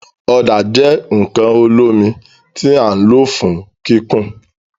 Ọda jẹ nkan olomi ti a lo fun kikun